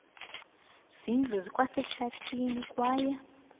zindlu zikwasehlathini kwaye